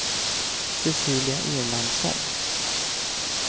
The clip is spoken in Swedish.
Cecilia Erlandsson